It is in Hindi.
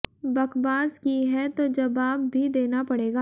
बकबास की है तो जबाब भी देना पड़ेगा